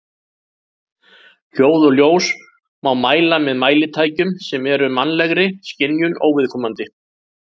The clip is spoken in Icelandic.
Hljóð og ljós má mæla með mælitækjum sem eru mannlegri skynjun óviðkomandi.